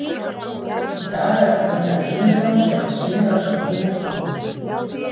Í dag er það Gunnar Einarsson sem að sýnir á sér hina hliðina.